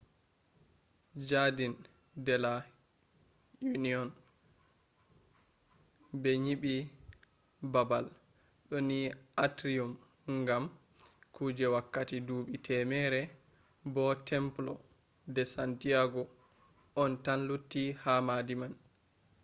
jardin de la union. be nyibi babal do ni atrium gam kuje wakkati duubi temere bo templo de san diego on tan lutti ha maadi man